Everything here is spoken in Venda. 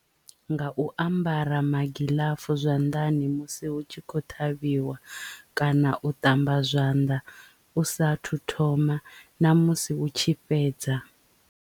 Nga u ambara magiḽafu zwanḓani musi hu tshi khou ṱhavhiwa kana u ṱamba zwanḓa u sa thu thoma ṋamusi u tshi fhedza.